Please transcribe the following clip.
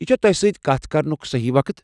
یہِ چھا تۄہہ سۭتۍ کتھ کرنُک صحیح وقت؟